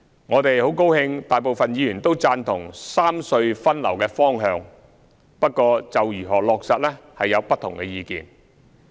我們很高興大部分議員均贊同三隧分流的方向，不過就如何落實有不同意見。